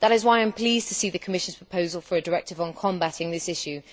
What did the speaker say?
That is why I am pleased to see the Commission's proposal for a directive on combating this issue.